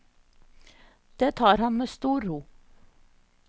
Det tar han med stor ro.